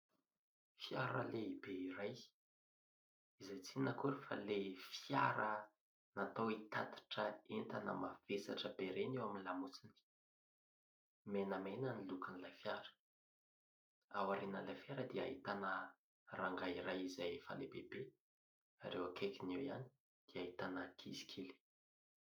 Fiara lehibe iray, izay tsy inona akory fa ilay fiara natao hitatitra entana mavesatra be ireny eo amin'ny lamosiny. Menamana ny lokon'ilay fiara. Ao aorinan'ilay fiara dia ahitana rangahy iray izay efa lehibe be ; ary eo akaikiny eo ihany dia ahitana ankizy kely.